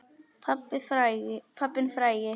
Pabbinn frægi.